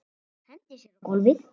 Hendir sér á gólfið.